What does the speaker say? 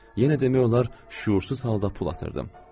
Yenə demək olar şüursuz halda pul atırdım.